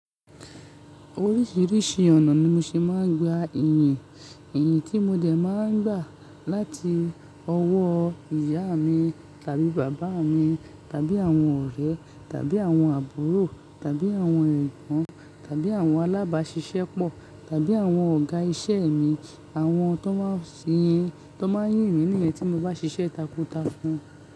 Oríṣìíríṣìí ọ̀nà ni mo ṣe máa ń gba ìyìn. Iyìn tí mo dẹ̀ máa ń gbà láti ọwọ́ ìyá mi tàbí bàbá mi tàbí àwọn ọ̀rẹ́ tàbí àwọn àbúrò tàbí àwọn ẹ̀gbọ́n tàbí àwọn alábáṣiṣẹ́ pọ̀ tàbí àwọn ọ̀gá iṣẹ́ mi, àwọn tó máa ń yìn mi niyẹ́n tí mo bá ṣiṣẹ́ takuntakun.